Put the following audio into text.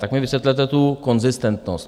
Tak mi vysvětlete tu konzistentnost.